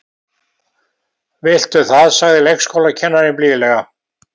Viltu það sagði leikskólakennarinn blíðlega.